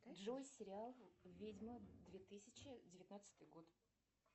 джой сериал ведьма две тысячи девятнадцатый год